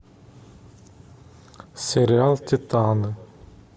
сериал титаны